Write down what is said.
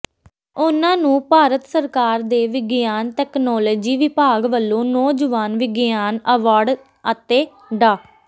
ਉਹਨਾਂ ਨੂੰ ਭਾਰਤ ਸਰਕਾਰ ਦੇ ਵਿਗਿਆਨ ਤਕਨਾਲੋਜੀ ਵਿਭਾਗ ਵੱਲੋਂ ਨੌਜਵਾਨ ਵਿਗਿਆਨ ਐਵਾਰਡ ਅਤੇ ਡਾ